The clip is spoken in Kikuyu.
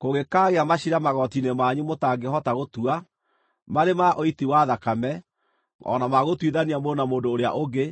Kũngĩkaagĩa maciira magooti-inĩ manyu mũtangĩhota gũtua, marĩ ma ũiti wa thakame, o na ma gũtuithania mũndũ na mũndũ ũrĩa ũngĩ,